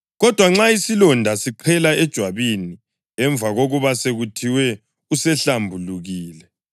Kodwa nxa isilonda siqhela ejwabini emva kokuba sekuthiwe usehlambulukile,